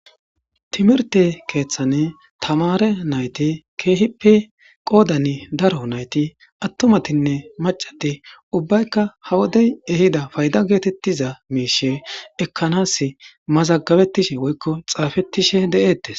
Timirte keeththane tamare nayti keehippe qoodan daro nayti attumatinne macati ubbaykka ha wodey ehida fayda geetettiza miishe ekkanas mazagabettishe woykko xaafettishe de7eettes